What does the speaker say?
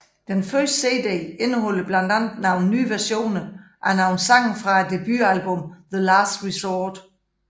Den første CD indeholder blandt andet nye versioner af nogle sange fra debut albummet The Last Resort